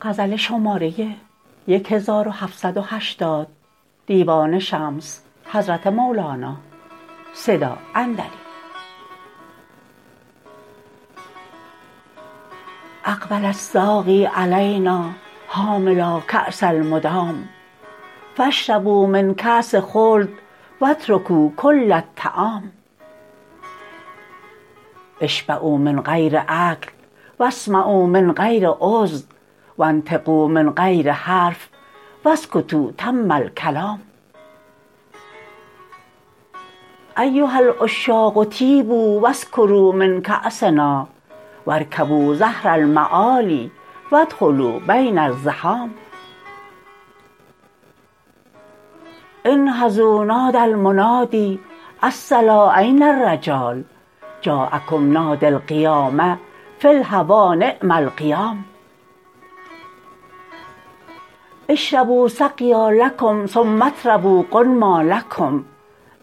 اقبل الساقی علینا حاملا کاس المدام فاشربوا من کاس خلد و اترکوا کل الطعام اشبعوا من غیر اکل و اسمعوا من غیر اذن و انطقوا من غیر حرف و اسکتوا تم الکلام ایها العشاق طیبوا و اسکروا من کأسنا و ارکبوا ظهر المعالی و ادخلوا بین الزحام انهضوا نادی المنادی الصلا این الرجال جاء کم نادی القیامه فی الهوی نعم القیام اشربوا سقیا لکم ثم اطربوا غنما لکم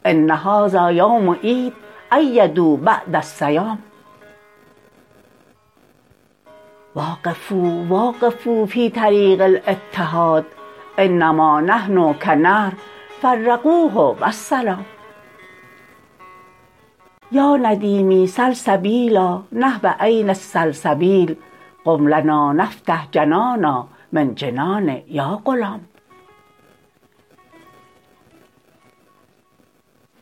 ان هذا یوم عید عیدوا بعد الصیام وافقونا وافقونا فی طریق الاتحاد انما نحن کنهر فرقوه و السلام یا ندیمی سل سبیلا نحو عین السلسبیل قم لنا نفتح جنانا من جنان یا غلام